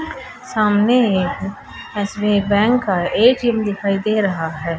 सामने एक SBI bank का ए_टी_एम दिखाई दे रहा है।